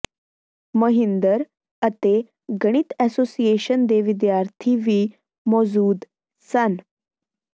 ਮਹਿੰਦਰ ਅਤੇ ਗਣਿਤ ਐਸੋਸੀਏਸ਼ਨ ਦੇ ਵਿਦਿਆਰਥੀ ਵੀ ਮੌਜੂਦ ਸਨ